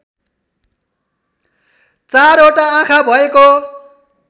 चारवटा आँखा भएको